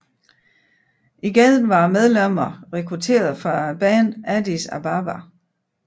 Igen var medlemmerne rekrutteret fra bandet Addis Ababa